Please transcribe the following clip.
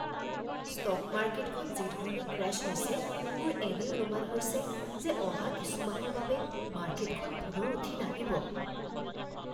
Stock মাৰ্কেটখন যিধৰণে crash হৈছে, মোৰ এনে অনুমান হৈছে যে অহা কিছু মাহৰ বাবে মাৰ্কেটখন পুনৰ উঠি নাহিব।